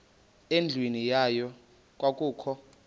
endlwini yayo kwakukho